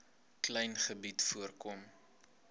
klein gebied voorkom